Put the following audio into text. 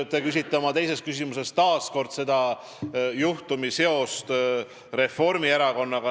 Te küsisite oma teises küsimuses taas selle kohta, milline on selle juhtumi seos Reformierakonnaga.